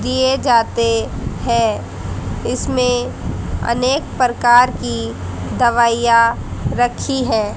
दिए जाते हैं इसमें अनेक प्रकार की दवाइयां रखी है।